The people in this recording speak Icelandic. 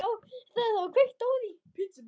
Og vona.